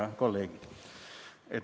Head kolleegid!